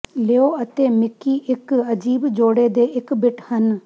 ਲੀਓ ਅਤੇ ਮਿਕੀ ਇੱਕ ਅਜੀਬ ਜੋੜੇ ਦੇ ਇੱਕ ਬਿੱਟ ਹਨ